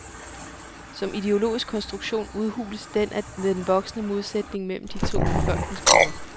Som ideologisk konstruktion udhules den af den voksende modsætning mellem de to befolkningsgrupper.